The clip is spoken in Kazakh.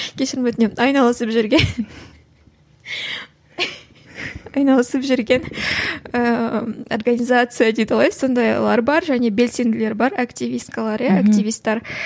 кешірім өтінемін айналысып жүрген айналысып жүрген ііі организация дейді ғой сондайлар бар және белсенділер бар активисткалар иә активистер